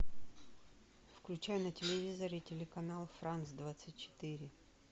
включай на телевизоре телеканал франц двадцать четыре